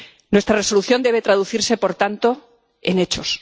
Nuestra Resolución debe traducirse por tanto en hechos.